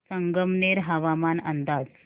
संगमनेर हवामान अंदाज